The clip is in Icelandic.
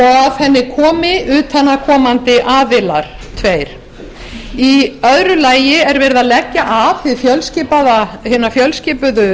að henni komi tveir utanaðkomandi aðilar í öðru lagi er verið að leggja af hina fjölskipuðu